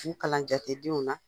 Ni kalan cɛ ti du min na